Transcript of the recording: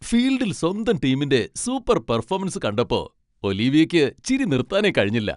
ഫീൽഡിൽ സ്വന്തം ടീമിന്റെ സൂപ്പർ പെർഫോമൻസ് കണ്ടപ്പോ ഒലിവിയയ്ക്ക് ചിരി നിർത്താനേ കഴിഞ്ഞില്ല.